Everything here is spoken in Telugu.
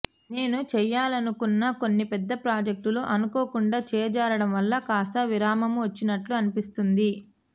నేను చేయాలనుకున్న కొన్ని పెద్ద ప్రాజెక్టులు అనుకోకుండా చేజారడం వల్ల కాస్త విరామమొచ్చినట్లు అనిపిస్తుంది